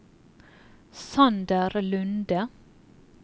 Sander Lunde